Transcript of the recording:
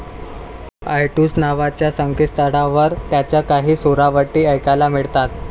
ITunes नावाच्या संकेतस्थळावर त्यांच्या काही सुरावटी ऐकायला मिळतात.